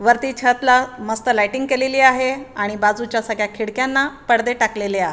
वरती छत ला मस्त लायटिंग केलेली आहे आणि बाजूच्या सगळ्या खिडक्यांना पडदे टाकलेले आ--